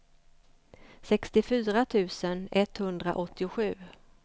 sextiofyra tusen etthundraåttiosju